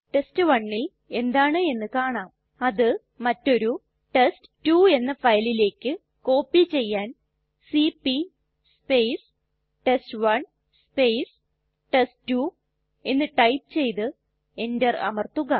test1ൽ എന്താണ് എന്ന് കാണാം അത് മറ്റൊരു ടെസ്റ്റ് 2 എന്ന ഫയലിലേക്ക് കോപ്പി ചെയ്യാൻ സിപി ടെസ്റ്റ്1 ടെസ്റ്റ്2 എന്ന് ടൈപ്പ് ചെയ്തു enter അമർത്തുക